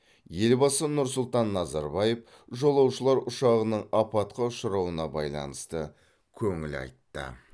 елбасы нұр сұлтан назарбаев жолаушылар ұшағының апатқа ұшырауына байланысты көңіл айтты